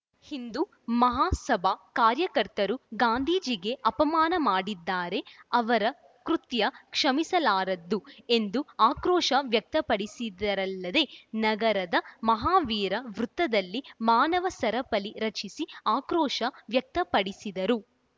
ಹಿಂದು ಮಹಾಸಭಾ ಕಾರ್ಯಕರ್ತರು ಗಾಂಧೀಜಿಗೆ ಅಪಮಾನ ಮಾಡಿದ್ದಾರೆ ಅವರ ಕೃತ್ಯ ಕ್ಷಮಿಸಲಾರದ್ದು ಎಂದು ಆಕ್ರೋಶ ವ್ಯಕ್ತಪಡಿಸಿದರಲ್ಲದೆ ನಗರದ ಮಹಾವೀರ ವೃತ್ತದಲ್ಲಿ ಮಾನವ ಸರಪಳಿ ರಚಿಸಿ ಆಕ್ರೋಶ ವ್ಯಕ್ತಪಡಿಸಿದರು